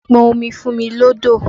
Pọn omi fún mi lọ́dọ̀!